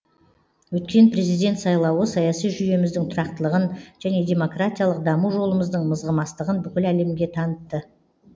өткен президент сайлауы саяси жүйеміздің тұрақтылығын және демократиялық даму жолымыздың мызғымастығын бүкіл әлемге танытты